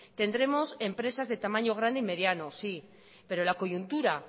tendremos empresas de tamaño grande y mediano sí pero la coyuntura